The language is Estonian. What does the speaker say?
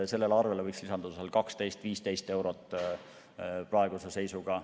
Sellele arvele võiks lisanduda 12–15 eurot praeguse seisuga.